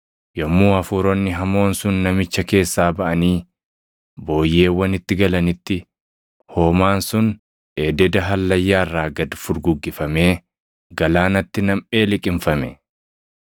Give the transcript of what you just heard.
Yommuu hafuuronni hamoon sun namicha keessaa baʼanii booyyeewwanitti galanitti, hoomaan sun ededa hallayyaa irraa gad furguggifamee galaanatti namʼee liqimfame.